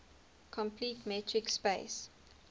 complete metric space